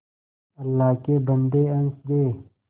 अल्लाह के बन्दे हंस दे